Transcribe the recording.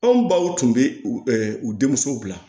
Anw baw tun bɛ u u denmuso bila